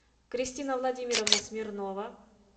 кристина владимировна смирнова